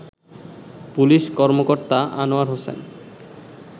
police কর্মকর্তা আনোয়ার হোসেন